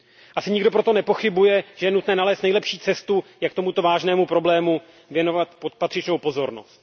Asi nikdo proto nepochybuje, že je nutné nalézt nejlepší cestu, jak tomuto vážnému problému věnovat patřičnou pozornost.